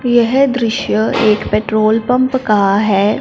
यह दृश्य एक पेट्रोल पंप का है।